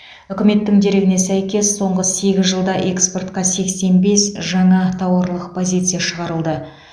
үкіметтің дерегіне сәйкес соңғы сегіз жылда экспортқа сексен бес жаңа тауарлық позиция шығарылды